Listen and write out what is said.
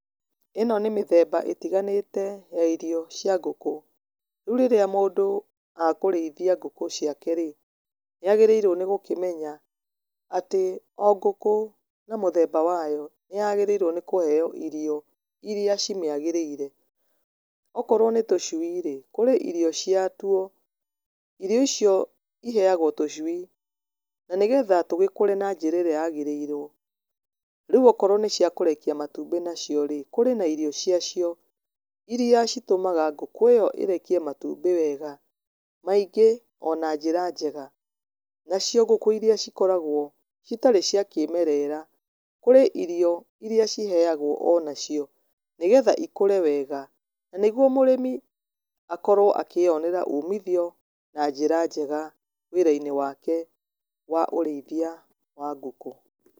Ĩno nĩ mĩthemba ĩtiganĩte ya irio cia ngũkũ. Rĩu rĩrĩa mũndũ akũrĩithia ngũkũ ciake rĩ, nĩ agĩrĩirwo nĩ gũkĩmenya atĩ o ngũkũ na mũthemba wayo. Nĩ yagĩrĩirwo nĩ kũheo irio irĩa cimĩagĩrĩire. Okorwo nĩ tũcui rĩ, kũrĩ irio cia tuo. Irio icio iheagwo tũcui na nĩgetha tũgĩkũre na njĩra ĩrĩa yagĩrĩirwo. Rĩu okorwo nĩ cia kũrekia matumbĩ nacio rĩ, kũrĩ na irio cia cio, irĩa citũmaga ngũkũ ĩyo ĩrekie matumbĩ wega, maingĩ ona njĩra njega. Nacio ngũkũ irĩa cikoragwo citarĩ cia kĩmerera, kũrĩ irio irĩa ciheagwo ona cio, nĩgetha ikũre wega. Na nĩguo mũrĩmi akorwo akĩyonera ũmithio na njĩra njega wĩra-inĩ wake wa ũrĩithia wa ngũkũ.